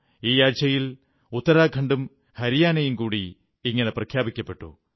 ഈ ആഴ്ചയിൽ ഉത്തരാഖണ്ഡും ഹരിയാനയും കൂടി ഇങ്ങനെ പ്രഖ്യാപിക്കപ്പെട്ടു